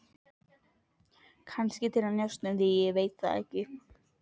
Kannski til að njósna um þig, ég veit það ekki.